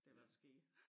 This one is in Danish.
Det hvad der sker